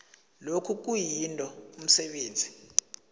lokhu kuyinto umsebenzi